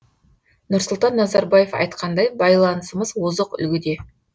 нұрсұлтан назарбаев айтқандай байланысымыз озық үлгіде